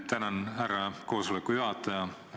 Tänan, härra koosoleku juhataja!